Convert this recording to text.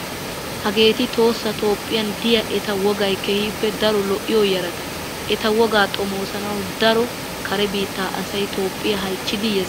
Hageeti Toohossa Tophphiyan diya eta wogayi keehippe daro lo"iyoo yarataa. Eta wogaa xomoosanawu daro kare biitta asayi Toophphiya halchchidi yes.